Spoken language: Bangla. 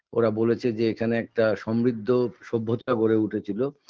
ওরা বলেছে যে এখানে একটা সমৃদ্ধ সভ্যতা গড়ে উঠেছিল